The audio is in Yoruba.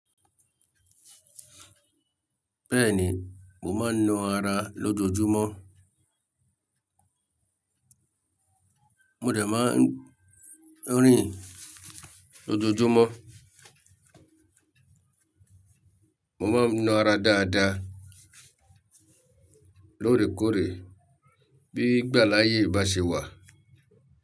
Bẹ́ẹ̀ni, mo máa ń na ara lójoojúmọ́. Mo dẹ̀ máa ń rìn lójoojúmọ́. Mo máa ń na ara dáadáa, lóòrèkóòrè, bí ìgbàláyé bá ṣe wà.